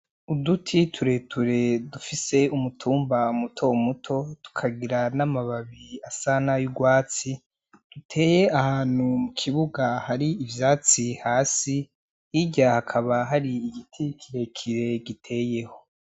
Uduti tureture dufise umutumba muto muto tukagira n'amababi asa n'ay'urwatsi duteye ahantu mu kibuga hari ivyatsi hasi, hirya hakaba hari igiti kirekire giteyeho.